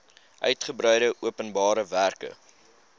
uigebreide openbare werke